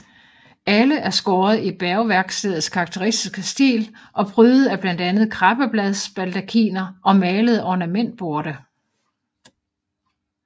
Alle er skåret i Bergværkstedets karakteristiske stil og prydet af blandt andet krabbebladsbaldakiner og malede ornamentborte